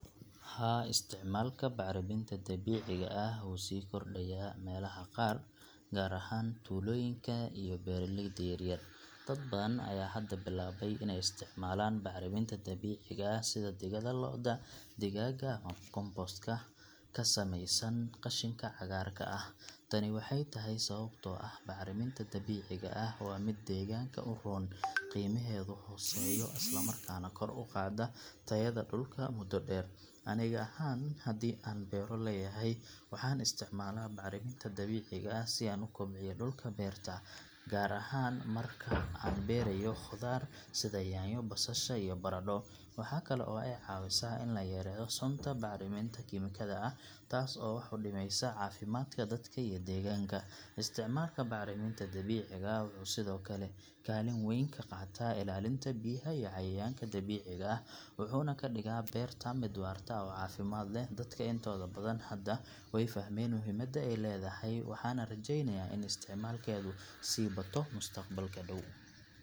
Haa, isticmaalka bacriminta dabiiciga ah wuu sii kordhaya meelaha qaar, gaar ahaan tuulooyinka iyo beeraleyda yaryar. Dad badan ayaa hadda bilaabay inay isticmaalaan bacriminta dabiiciga ah sida digada lo’da, digaagga, ama compost ka ka samaysan qashinka cagaarka ah. Tani waxay tahay sababtoo ah bacriminta dabiiciga ah waa mid deegaanka u roon, qiimaheedu hooseeyo, isla markaana kor u qaadda tayada dhulka muddo dheer. Aniga ahaan, haddii aan beero leeyahay, waxaan isticmaalaa bacriminta dabiiciga ah si aan u kobciyo dhulka beerta, gaar ahaan marka aan beerayo khudaar sida yaanyo, basasha, iyo baradho. Waxa kale oo ay caawisaa in la yareeyo sunta bacriminta kiimikada ah, taas oo wax u dhimaysa caafimaadka dadka iyo deegaanka. Isticmaalka bacriminta dabiiciga ah wuxuu sidoo kale kaalin weyn ka qaataa ilaalinta biyaha iyo cayayaanka dabiiciga ah, wuxuuna ka dhigaa beerta mid waarta oo caafimaad leh. Dadka intooda badan hadda way fahmeen muhiimadda ay leedahay, waxaana rajeynayaa in isticmaalkeedu sii bato mustaqbalka dhow.